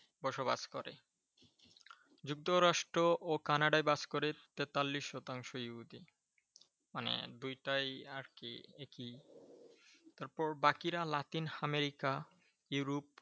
বসবাস করে । যুক্তরাষ্ট্র ও কানাডায় বাস করে তেতাল্লিশ শতাংশ ইহুদী । মানে দুইটাই আরকি একই তারপর বাকিরা লাতিন আমেরিকা, ইউরোপ